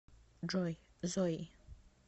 джой зои